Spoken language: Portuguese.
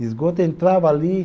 Esgoto, eu entrava ali.